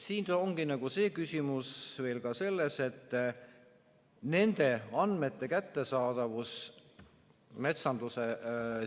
Siin ongi küsimus veel ka selles, et nende andmete kättesaadavus metsanduse